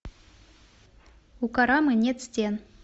у карамы нет стен